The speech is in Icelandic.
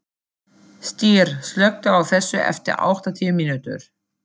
Styr, slökktu á þessu eftir áttatíu mínútur.